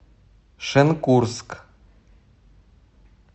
шенкурск